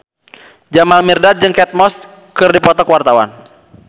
Jamal Mirdad jeung Kate Moss keur dipoto ku wartawan